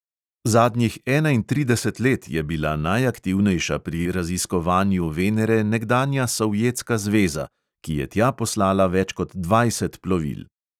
Zadnjih enaintrideset let je bila najaktivnejša pri raziskovanju venere nekdanja sovjetska zveza, ki je tja poslala več kot dvajset plovil.